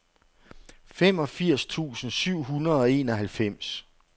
femogfirs tusind syv hundrede og enoghalvfems